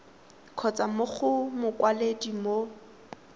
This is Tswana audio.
kgotsa mo go mokwaledi mo